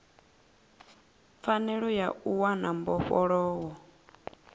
pfanelo ya u wana mbofholowo